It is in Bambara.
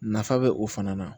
Nafa bɛ o fana na